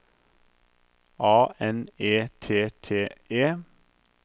A N E T T E